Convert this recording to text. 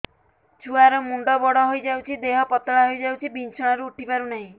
ଛୁଆ ର ମୁଣ୍ଡ ବଡ ହୋଇଯାଉଛି ଦେହ ପତଳା ହୋଇଯାଉଛି ବିଛଣାରୁ ଉଠି ପାରୁନାହିଁ